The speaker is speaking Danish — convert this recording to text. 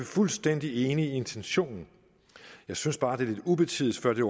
fuldstændig enige i intentionen jeg synes bare det er lidt ubetids før det